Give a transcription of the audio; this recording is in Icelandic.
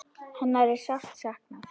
Hennar er sárt saknað.